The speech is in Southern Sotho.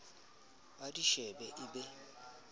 a di shebe e be